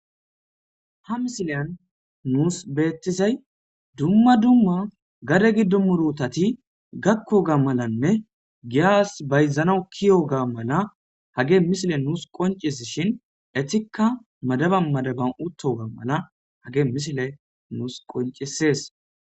Ha misiliyan nus betizay duma duma gade gido murutati gakiyoga malanne giya bayzanas ke'iyoga mala hagey misiley nus qoncisishin etika mada anadaban uttoga mala have misiley nus qocisses